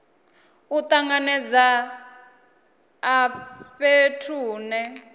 u tanganedza a fhethu hune